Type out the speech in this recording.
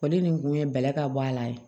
O de nin kun ye bɛlɛ ka bɔ a la ye